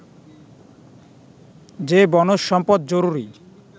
যে বনজ সম্পদ জরুরি